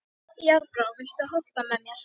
Járnbrá, viltu hoppa með mér?